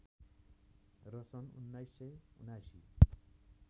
र सन् १९७९